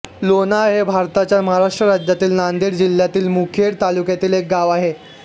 लोणाळ हे भारताच्या महाराष्ट्र राज्यातील नांदेड जिल्ह्यातील मुखेड तालुक्यातील एक गाव आहे